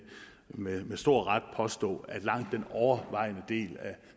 med stor ret påstå at langt den overvejende del af